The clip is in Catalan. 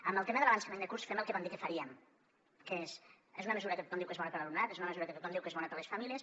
amb el tema de l’avançament de curs fem el que van dir que faríem que és una mesura que tothom diu que és bona per a l’alumnat és una mesura que tothom diu que és bona per a les famílies